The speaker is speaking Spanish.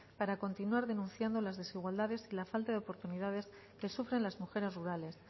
para continuar denunciando las desigualdades y la falta de oportunidades que sufren las mujeres rurales